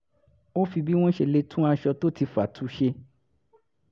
ó fi bí wọ́n ṣe lè tún aṣọ tó ti fà tu ṣe